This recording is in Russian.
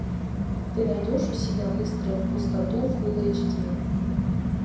ты найдешь у себя выстрел в пустоту фулл эйч ди